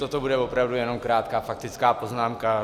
Toto bude opravdu jenom krátká faktická poznámka.